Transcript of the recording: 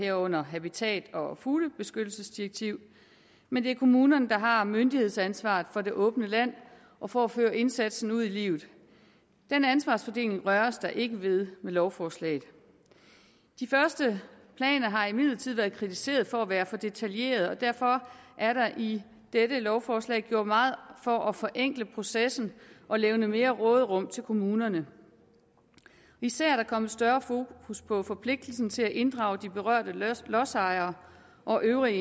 herunder habitat og fuglebeskyttelsesdirektivet men det er kommunerne der har myndighedsansvaret for det åbne land og for at føre indsatsen ud i livet den ansvarsfordeling røres der ikke ved med lovforslaget de første planer har imidlertid været kritiseret for at være for detaljerede og derfor er der i dette lovforslag gjort meget for at forenkle processen og levne mere råderum til kommunerne især er der kommet større fokus på forpligtelsen til at inddrage de berørte lodsejere og øvrige